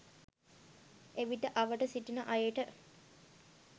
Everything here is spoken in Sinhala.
එවිට අවට සිටින අයට